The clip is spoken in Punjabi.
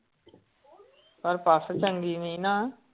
ਪਰ ਪਸ ਚੰਗੀ ਨੀ ਨਾ।